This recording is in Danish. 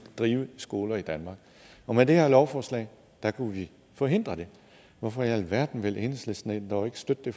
drive skoler i danmark og med det her forslag kunne vi forhindre det hvorfor i alverden vil enhedslisten dog ikke støtte det